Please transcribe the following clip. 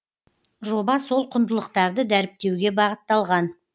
жоба сол құндылықтарды дәріптеуге бағытталған